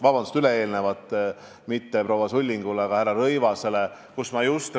Vabandust, üle-eelmisele, mitte proua Sullingu, vaid härra Rõivase küsimusele.